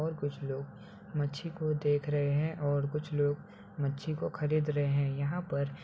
और कुछ लोग मच्छी को देख रहे हैं और कुछ लोग मच्छी को खरीद रहे हैं यहां पर --